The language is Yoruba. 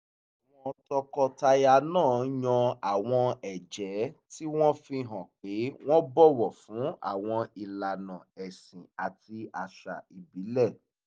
àwọn tọkọtaya náà yan àwọn ẹ̀jẹ́ tí wọ́n fi hàn pé wọ́n bọ̀wọ̀ fún àwọn ìlànà ẹ̀sìn àti àṣà ìbílẹ̀